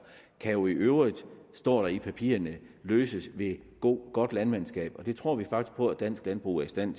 kan jo i øvrigt det står der i papirerne løses ved godt landmandskab og det tror vi faktisk på at dansk landbrug er i stand